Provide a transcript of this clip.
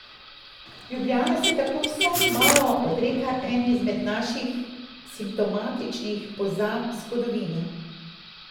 Ljubljana se tako vsaj malo odreka eni izmed naših simptomatičnih pozab zgodovine.